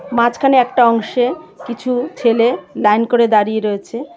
মাঝখানে একটা অংশে কিছু ছেলে লাইন করে দাঁড়িয়ে রয়েছে .